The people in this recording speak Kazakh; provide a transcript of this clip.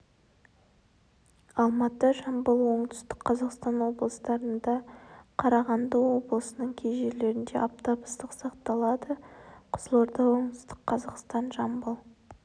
алматы жамбыл оңтүстік қазақстан облыстарында қарағанды облысының кей жерлерінде аптап ыстық сақталады қызылорда оңтүстік қазақстан жамбыл